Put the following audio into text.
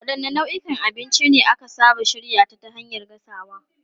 Wadanne nau'ikan abinci ne aka saba shirya ta hanyar gasawa?